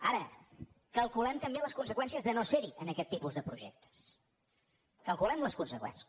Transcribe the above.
ara calculem també les conseqüències de no ser·hi en aquest tipus de projectes calculem·ne les conseqüències